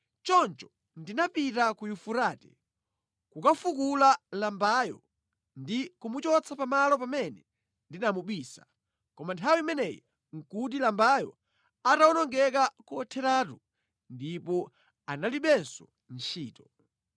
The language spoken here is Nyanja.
Choncho ndinapita ku Yufurate kukafukula lambayo ndi kumuchotsa pamalo pamene ndinamubisa, koma nthawi imeneyi nʼkuti lambayo atawonongeka kotheratu ndipo analibenso ntchito.